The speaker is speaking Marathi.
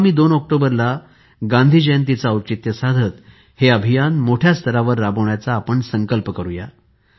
आगामी २ ऑक्टोबर ला येणाऱ्या गांधी जयंतीचे औचित्य साधत हे अभियान मोठ्या स्तरावर राबविण्याचा संकल्प करूया